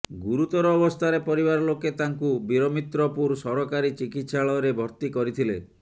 ଗୁରୁତର ଅବସ୍ଥାରେ ପରିବାର ଲୋକେ ତାଙ୍କୁ ବୀରମିତ୍ରପୁର ସରକାରୀ ଚିକିତ୍ସାଳୟରେ ଭର୍ତ୍ତି କରିଥିଲେ